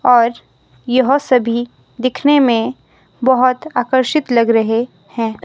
और यह सभी दिखने में बहोत आकर्षित लग रहे हैं।